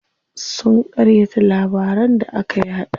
Sun ƙaryata labaran da aka yaɗa.